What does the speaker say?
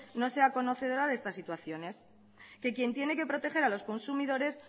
no sea conocedora de estas situaciones que quien tiene que proteger a los consumidores